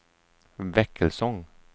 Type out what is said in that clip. Väckelsång